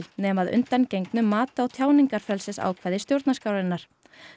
nema að undangengnu mati á tjáningarfrelsisákvæði stjórnarskrárinnar